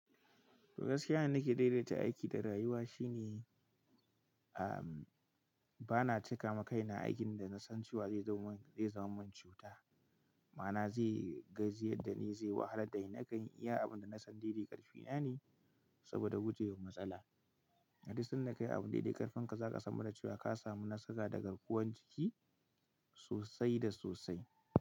To gaskiya, abin da nake daidaita aiki da rayuwa shine, ba na cika ma kaina aikin da na san cewa zai zama mun, zai zama mun cuta. Ma'ana zai gajiyar da ni, zai wahalar da ni. Nakan iya abin da na san daidai ƙarfi na ne saboda guje wa matsala. Hadi sanda ka yi abin daidai ƙarfin ka, za ka san ba da cewa ka samu nassaka daga ruwan jiki sosai da sosai.